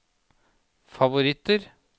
favoritter